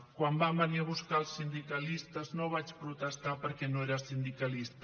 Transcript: quan van venir a buscar els sindicalistes no vaig protestar perquè jo no era sindicalista